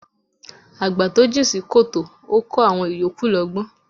Àgbà to jìn sí kòtò ó kọ́ àwọn ìyókù lọ́gbọ́n.